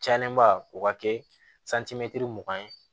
Cayalenba o ka kɛ mugan ye